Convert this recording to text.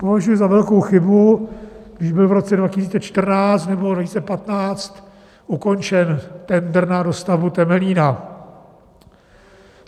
Považuji za velkou chybu, když byl v roce 2014 nebo 2015 ukončen tendr na dostavbu Temelína.